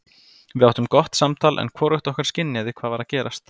Við áttum gott samtal en hvorugt okkar skynjaði hvað var að gerast.